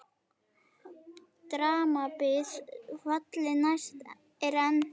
Drambið falli næst er enn.